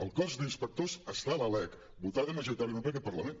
el cos d’inspectors està a la lec votada majoritàriament per aquest parlament